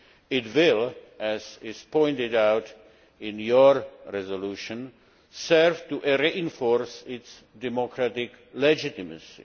It will, as is pointed out in your resolution, serve to reinforce its democratic legitimacy.